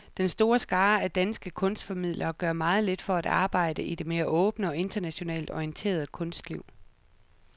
Den store skare af danske kunstformidlere gør meget lidt for at arbejde i det mere åbne og internationalt orienterede kunstliv.